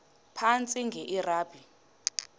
phantsi enge lrabi